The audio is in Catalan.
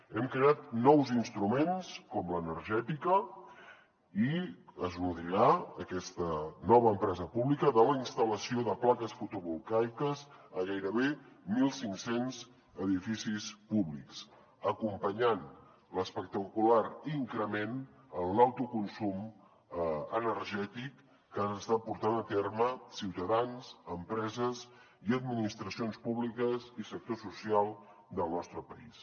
hem creat nous instruments com l’energètica i es nodrirà aquesta nova empresa pública de la instal·lació de plaques fotovoltaiques a gairebé mil cinc cents edificis públics acompanyant l’espectacular increment en l’autoconsum energètic que han estat portant a terme ciutadans empreses i administracions públiques i sector social del nostre país